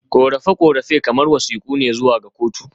Korafe-korafe kamar wasiƙu ne zuwa ga kotu.